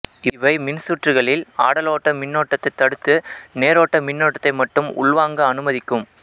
இவை மின்சுற்றுக்களில் ஆடலோட்ட மின்னோட்டத்தை தடுத்து நேரோட்ட மின்னோட்டத்தை மட்டும் உள்வாங்க அனுமதிக்கும்